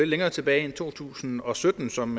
længere tilbage end to tusind og sytten som